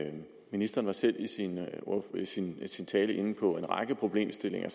ministeren var i sin sin tale inde på en række problemstillinger